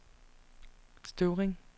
Støvring